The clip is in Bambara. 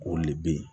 O le bɛ yen